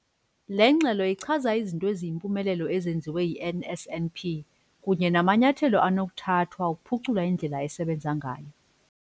Le ngxelo ichaza izinto eziyimpumelelo ezenziwe yi-NSNP kunye namanyathelo anokuthathwa ukuphucula indlela esebenza ngayo.